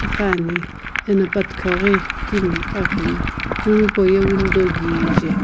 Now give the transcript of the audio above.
iqani ena pa thikau ghi itimi iqa akhani room hipauye window kije.